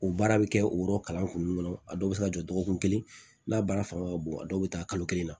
O baara bɛ kɛ o yɔrɔ kalan kun kɔnɔ a dɔw bɛ se ka jɔ dɔgɔkun kelen n'a baara fanga ka bon a dɔw bɛ taa kalo kelen na